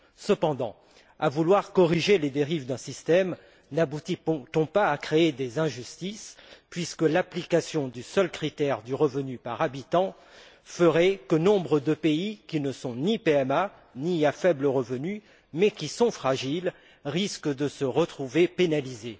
Cependant, à vouloir corriger les dérives d'un système, n'aboutit on pas à créer des injustices puisque l'application du seul critère du revenu par habitant ferait que nombre de pays qui ne sont ni PMA ni à faible revenu, mais qui sont fragiles, risquent de se retrouver pénalisés?